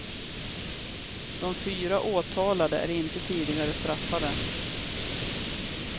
De fyra åtalade är inte tidigare straffade.